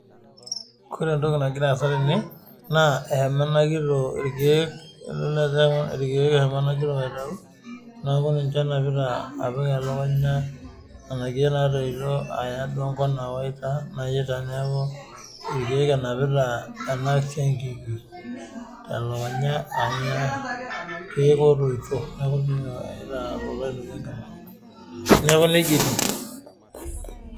Ore entoki nagira asaa tenewueji naa ehomo ena kitok irkeek edol Ajo irkeek eshomo ena kitok aitau neeku ninche enapita apik elukunya Nena keek natoito ayaya duo enkop Nayaita neeku irkeek enapita ena siankiki telukunya irkeek otoito neeku nejia etieu